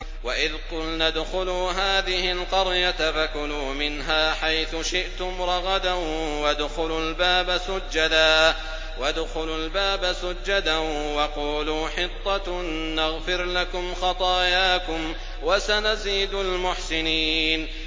وَإِذْ قُلْنَا ادْخُلُوا هَٰذِهِ الْقَرْيَةَ فَكُلُوا مِنْهَا حَيْثُ شِئْتُمْ رَغَدًا وَادْخُلُوا الْبَابَ سُجَّدًا وَقُولُوا حِطَّةٌ نَّغْفِرْ لَكُمْ خَطَايَاكُمْ ۚ وَسَنَزِيدُ الْمُحْسِنِينَ